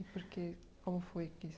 E por que, como foi que isso